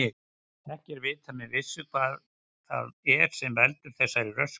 Ekki er vitað með vissu hvað það er sem veldur þessari röskun.